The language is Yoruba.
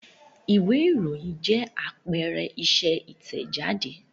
Ìwé-ìròyìn jẹ́ àpẹẹrẹ iṣẹ́ Ìtẹ̀jáde.